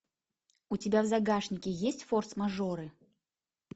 у тебя в загашнике есть форс мажоры